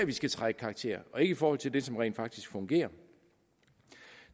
vi skal træde i karakter og ikke i forhold til det som rent faktisk fungerer